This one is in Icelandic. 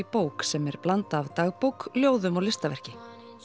bók sem er blanda af dagbók ljóðum og listaverki